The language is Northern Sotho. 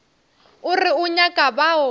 o re o nyaka bao